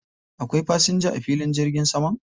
Akwai fasinja a filin jirgin saman?